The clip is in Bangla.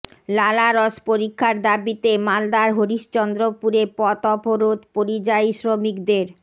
লালারস পরীক্ষার দাবিতে মালদার হরিশ্চন্দ্রপুরে পথ অবরোধ পরিযায়ী শ্রমিকদের